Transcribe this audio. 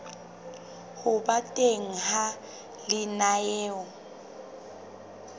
ho ba teng ha lenaneo